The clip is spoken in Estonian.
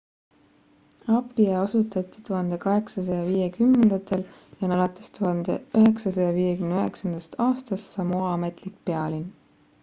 apia asutati 1850ndatel ja on alates 1959 aastast samoa ametlik pealinn